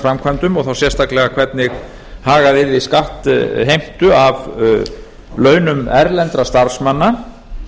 framkvæmdum og þá sérstaklega hvernig hagað yrði skattheimtu af launum erlendra starfsmanna